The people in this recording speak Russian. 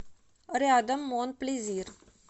рядом мон плезир